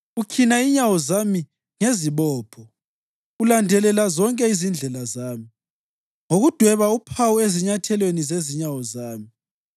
Ukhina inyawo zami ngezibopho; ulandelela zonke izindlela zami ngokudweba uphawu ezinyathelweni zezinyawo zami.